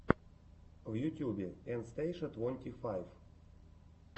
в ютьюбе эн стейша твонти файв